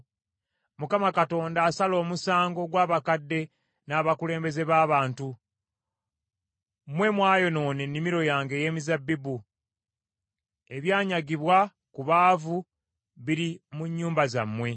Mukama Katonda asala omusango gw’abakadde n’abakulembeze b’abantu be. “Mmwe mwayonoona ennimiro yange ey’emizabbibu. Ebyanyagibwa ku baavu biri mu nnyumba zammwe.